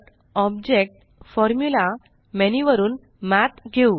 InsertgtObjectgtFormulaमेन्यू वरुन मठ घेऊ